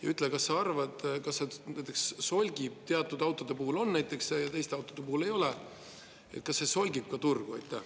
Ja ütle, kas sa arvad, et kui näiteks teatud autode puhul on see ja teiste autode puhul ei ole, kas see solgib turgu.